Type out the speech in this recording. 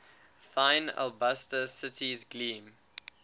thine alabaster cities gleam